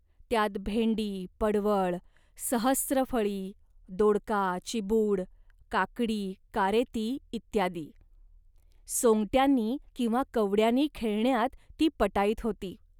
त्यात भेंडी, पडवळ, सहस्त्रफळी, दोडका, चिबूड, काकडी, कारेती इ. सोंगट्यांनी किंवा कवड्यांनी खेळण्यात ती पटाईत होती